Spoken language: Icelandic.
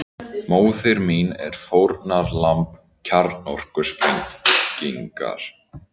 Móðir mín er fórnarlamb kjarnorkusprengingar